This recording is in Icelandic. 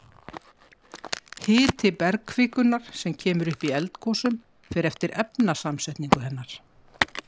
hiti bergkvikunnar sem kemur upp í eldgosum fer eftir efnasamsetningu hennar